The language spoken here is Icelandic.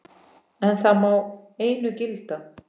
En það má einu gilda.